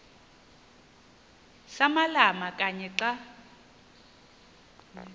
samalama kanye xa